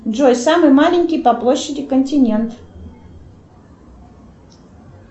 джой самый маленький по площади континент